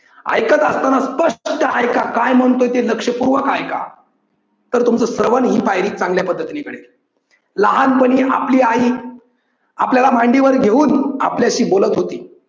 ऐकत असतांना स्पष्ट ते ऐका काय म्हणतोय ते लक्ष पूर्वक ऐका, तर तुमचं श्रवण ही पायरी चांगल्या पद्धतीने घडेल. लहान पणी आपली आई आपल्याला मांडीवर घेऊन आपल्याशी बोलत होती